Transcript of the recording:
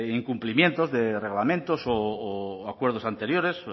incumplimientos de reglamentos o acuerdos anteriores